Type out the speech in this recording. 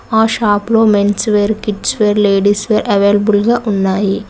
ఆ షాప్ లో men's wear kids wear ladies wear available గా ఉన్నాయి.